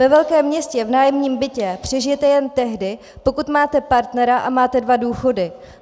Ve velkém městě v nájemním bytě přežijete jen tehdy, pokud máte partnera a máte dva důchody.